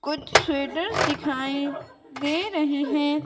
कुछ स्वेटर्स दिखाई दे रहे हैं।